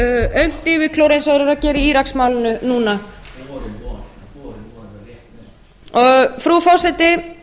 aumt yfirklór eins og þeir eru að gera í íraksmálinu núna frú forseti